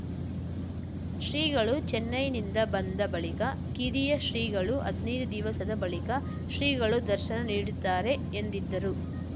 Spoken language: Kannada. ಶ್ರೀಗಳು ಚೆನೈನಿಂದ ಬಂದ ಬಳಿಕ ಕಿರಿಯ ಶ್ರೀಗಳು ಹದ್ನೈದು ದಿವಸದ ಬಳಿಕ ಶ್ರೀಗಳು ದರ್ಶನ ನೀಡುತ್ತಾರೆ ಎಂದಿದ್ದರು